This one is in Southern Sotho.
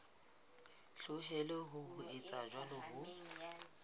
hloleha ho etsa jwalo ho